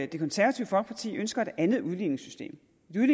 det konservative folkeparti ønsker et andet udligningssystem